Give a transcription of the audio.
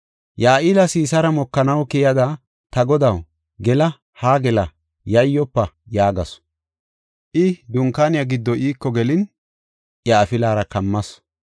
Ya7eela Sisaara mokanaw keyada, “Ta godaw, gela; haa gela; yayyofa” yaagasu. I dunkaaniya giddo iiko gelin iya afilara kammas.